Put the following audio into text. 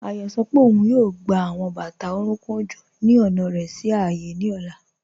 Ayo sọ pe ọun yóò gbà awọn bátà orùnkùn ọjọ́ ni ọna rẹ sí ààyé ni ọla.